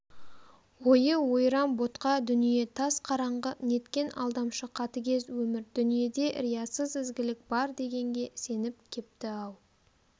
ойы ойран-ботқа дүние тас қараңғы неткен алдамшы қатыгез өмір дүниеде риясыз ізгілік бар дегенге сеніп кепті-ау